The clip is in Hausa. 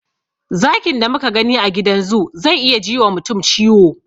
Zakin da muka gani a gidan zoo zai iya ji wa mutum ciwo.